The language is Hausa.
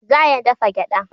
Za a iya dafa gyaɗa.